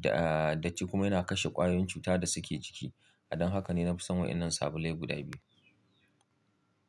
da, da ci kuma yana kashe ƙwayoyin cuta da suke jiki. Don haka ne na fi son wayan nan sabulai guda biyu.